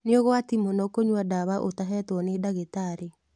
Nĩũgwati mũno kũnyua dawa utahetwo nĩ ndagĩtarĩ.